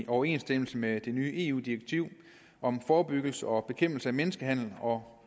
i overensstemmelse med det nye eu direktiv om forebyggelse og bekæmpelse af menneskehandel og